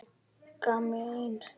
Magga mín.